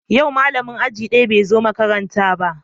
Yau malamin aji daya bai zo makaranta ba